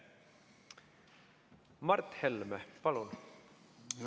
Mart Helme, palun!